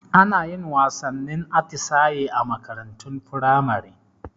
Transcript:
Anayin wasannin atisaye a makarantun firamare